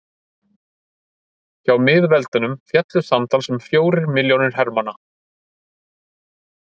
hjá miðveldunum féllu samtals um fjórir milljónir hermanna